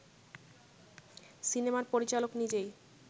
সিনেমার পরিচালক নিজেই